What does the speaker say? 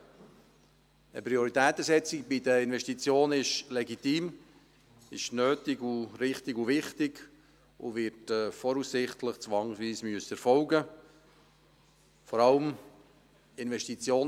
Eine Prioritätensetzung bei den Investitionen ist legitim, nötig, wichtig und richtig, und sie wird voraussichtlich zwangsweise erfolgen müssen.